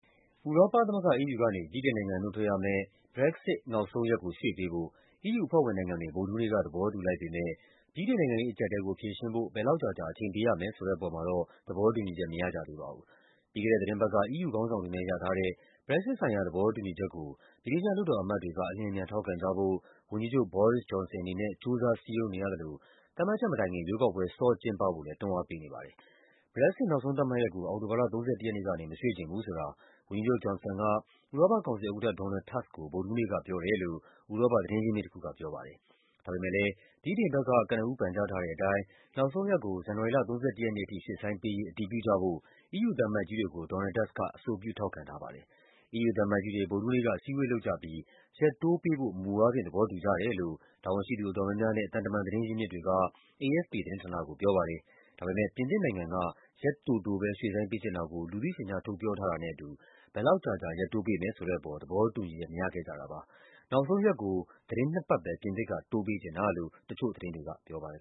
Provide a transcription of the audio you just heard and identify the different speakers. Speaker 1: ဥရောပသမဂ္ဂ EU ကနေ ဗြိတိန်နိုင်ငံ နုတ်ထွက်ရမယ့် Brexit နောက်ဆုံးရက်ကို ရွှေ့ပေးဖို့ EU အဖွဲ့ဝင်နိုင်ငံတွေ ဗုဒ္ဓဟူးနေ့က သဘောတူလိုက်ပေမယ့် ဗြိတိန်နိုင်ငံရေး အကျပ်အတည်းကို ဖြေရှင်းဖို့ ဘယ်လောက်ကြာကြာ အချိန်ပေးရမယ်ဆိုတဲ့ အပေါ်မှာ တော့ သဘောတူညီချက် မရကြသေးပါဘူး။ ပြီးခဲ့တဲ့ သီတင်းပတ်က EU ခေါင်းဆောင်တွေနဲ့ ရထားတဲ့ Brexit ဆိုင်ရာ သဘောတူညီချက်ကို ဗြိတိသျှ လွှတ်တော်အမတ်တွေက အလျင်အမြန် ထောက်ခံကြဖို့ ဝန်ကြီးချုပ် Boris Johnson အနေနဲ့ ကြိုးစားစည်းရုံးနေရသလို သတ်မှတ်ချက်မတိုင်ခင် ရွေးကောက်ပွဲ စောကျင်းပဖို့လည်း တွန်းအားပေးနေပါတယ်။ Brexit နောက်ဆုံး သတ်မှတ်ရက်ကို အောက်တိုဘာလ ၃၁ ရက်နေ့ကနေ မရွှေ့ချင်ဘူးဆိုတာ ဝန်ကြီးချုပ် Johnson က ဥရောပ ကောင်စီဥက္ကဋ္ဌ Donald Tusk ကို ဗုဒ္ဓဟူးနေ့ကပြောတယ်လို့ ဥရောပသတင်းရင်းမြစ်တခုက ပြောပါတယ်။ ဒါပေမယ့်လည်း ဗြိတိန်ဘက်က ကနဦး ပန်ကြားထားတဲ့အတိုင်း နောက်ဆုံးရက်ကို ဇန်နဝါရီလ ၃၁ ရက်နေ့အထိ ရွှေ့ဆိုင်းပေး ရေး အတည်ပြုကြဖို့ EU သံအမတ်ကြီးတွေကို Donald Tusk က အဆိုပြု ထောက်ခံထားပါတယ်။ EU သံအမတ်ကြီးတွေ ဗုဒ္ဓဟူးနေ့က အစည်းအဝေးလုပ်ကြပြီး ရက်တိုးပေးဖို့ မူအားဖြင့် သဘောတူကြတယ်လို့ တာဝန်ရှိသူ အတော်များများနဲ့ သံတမန် သတင်းရင်းမြစ်တွေက AFP သတင်းဌာနကိုပြောပါတယ်။ ဒါပေမယ့် ပြင်သစ်နိုင်ငံက ရက်တိုတိုပဲ ရွှေ့ဆိုင်းပေးချင်တာကို လူသိရှင်ကြား ထုတ်ပြောထားတာနဲ့အတူ ဘယ်လောက်ကြာကြာ ရက်တိုးပေးမယ်ဆိုတဲ့အပေါ် သဘော တူညီချက် မရခဲ့ကြတာပါ။ နောက်ဆုံးရက်ကို သီတင်းနှစ်ပတ်ပဲ ပြင်သစ်က တိုးပေးချင်တာလို့ တချို့သတင်းတွေကပြောပါတယ်